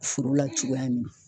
Foro la cogoya min na